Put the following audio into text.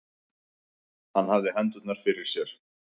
Hann hafði hendurnar fyrir sér.